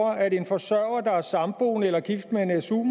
at en forsørger der er samboende eller gift med en su